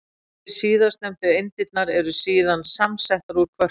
Tvær síðastnefndu eindirnar eru síðan samsettar úr kvörkum.